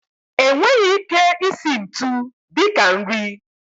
E nweghị ike isi ntu dịka nri.